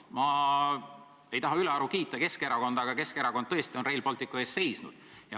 Ma ei taha ülearu kiita Keskerakonda, aga Keskerakond tõesti on Rail Balticu eest seisnud.